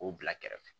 K'o bila kɛrɛfɛ